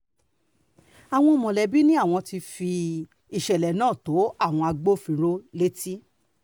àwọn mọ̀lẹ́bí ni àwọn ti fi ìṣẹ̀lẹ̀ náà tó àwọn agbófinró létí